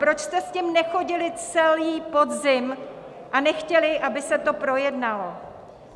Proč jste s tím nechodili celý podzim a nechtěli, aby se to projednalo?